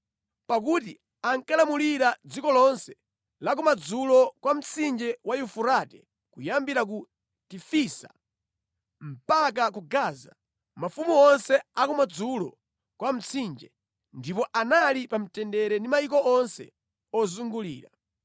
Pakuti ankalamulira dziko lonse la kumadzulo kwa mtsinje wa Yufurate kuyambira ku Tifisa mpaka ku Gaza, mafumu onse a kumadzulo kwa Mtsinje, ndipo anali pa mtendere ndi mayiko onse ozungulira.